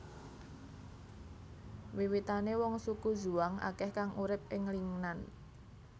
Wiwitane wong suku Zhuang akeh kang urip ing Lingnan